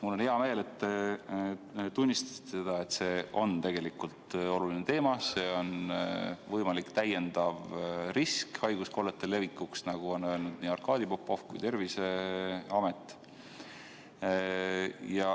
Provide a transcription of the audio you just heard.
Mul on hea meel, et te tunnistasite, et see on tegelikult oluline teema, see on võimalik täiendav risk haiguskollete levikuks, nagu on öelnud nii Arkadi Popov kui ka Terviseamet.